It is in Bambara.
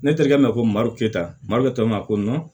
Ne terikɛ ma ko marote ta makɛ tɔ mako nɔn